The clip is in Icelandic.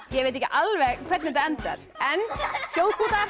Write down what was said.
ég veit ekki alveg hvernig þetta endar en